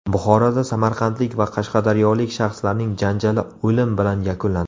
Buxoroda samarqandlik va qashqadaryolik shaxslarning janjali o‘lim bilan yakunlandi.